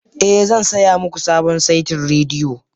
Ee, zan saya muku sabon saitin rediyo